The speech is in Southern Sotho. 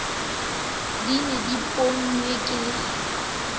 di ne di ponngwe ka